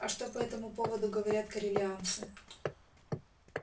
а что по этому поводу говорят корелианцы